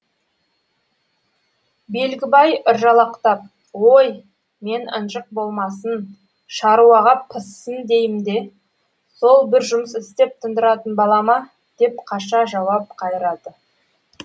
белгібай ыржалақтап ой мен ынжық болмасын шаруаға пыссын дейім де сол бір жұмыс істеп тындыратын бала ма деп қаша жауап қайырады